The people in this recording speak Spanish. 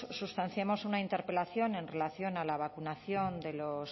sustanciamos una interpelación en relación a la vacunación de los